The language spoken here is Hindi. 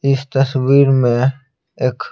इस तस्वीर में एक --